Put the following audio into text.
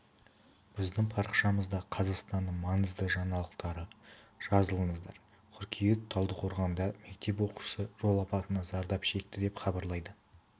біздің парақшамызда қазақстанның маңызды жаңалықтары жазылыңыздар қыркүйек талдықорғанда мектеп оқушысы жол апатынан зардап шекті деп хабарлайды